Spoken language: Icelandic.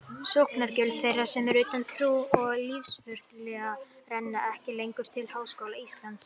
Sóknargjöld þeirra sem eru utan trú- og lífsskoðunarfélaga renna ekki lengur til Háskóla Íslands.